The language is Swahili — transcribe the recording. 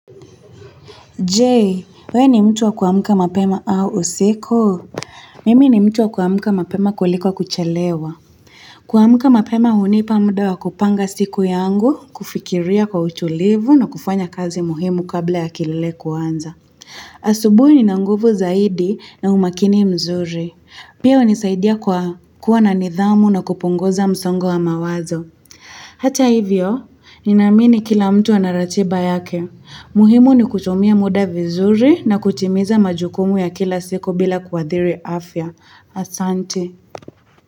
Je, we ni mtu wa kuamka mapema au usiku? Mimi ni mtu wa kuamka mapema kuliko wa kuchelewa. Kuamka mapema hunipa muda wa kupanga siku yangu, kufikiria kwa uchulivu na kufanya kazi muhimu kabla ya kilele kuanza. Asubui ninanguvu zaidi na umakini mzuri. Pia hunisaidia kwa kuwa na nidhamu na kupongoza msongo wa mawazo. Hata hivyo, nina amini kila mtu ana ratiba yake. Muhimu ni kutumia muda vizuri na kutimiza majukumu ya kila siku bila kuadhiri afya. Asante.